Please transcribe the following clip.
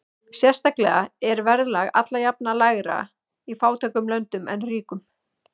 Sérstaklega er verðlag alla jafna lægra í fátækum löndum en ríkum.